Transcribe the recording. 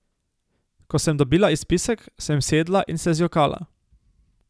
Ko sem dobila izpisek, sem sedla in se zjokala.